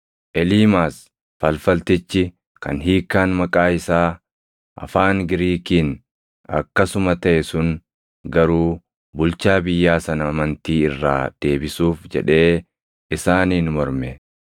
Eliimaas falfaltichi kan hiikkaan maqaa isaa afaan Giriikiin akkasuma taʼe sun garuu bulchaa biyyaa sana amantii irraa deebisuuf jedhee isaaniin morme.